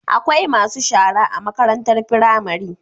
Akwai masu shara a makarantar pramari